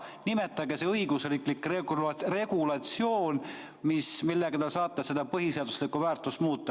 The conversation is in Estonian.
Nimetage see õigusriiklik regulatsioon, millega ta saate seda põhiseaduslikku väärtust muuta.